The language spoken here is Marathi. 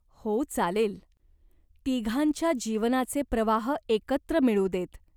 "हो, चालेल. तिघांच्या जीवनाचे प्रवाह एकत्र मिळू देत.